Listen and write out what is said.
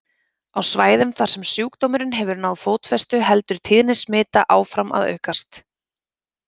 Á svæðum þar sem sjúkdómurinn hefur náð fótfestu heldur tíðni smita áfram að aukast.